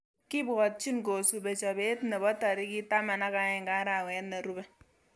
Kibwotchin kosube chobetab nebo tarik taman ak aeng arawet nerube